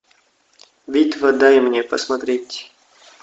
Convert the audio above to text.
битва дай мне посмотреть